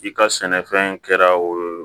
I ka sɛnɛfɛn kɛra o